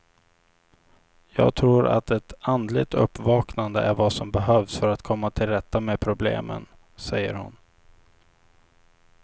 Jag tror att ett andligt uppvaknande är vad som behövs för att komma tillrätta med problemen, säger hon.